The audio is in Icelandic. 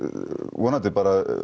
vonandi bara